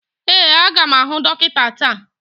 Ee, a ga m ahụ dọkịta taa